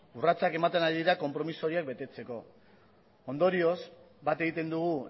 urratsak ematen dira konpromezu horiek betetzeko ondorioz bat egiten dugu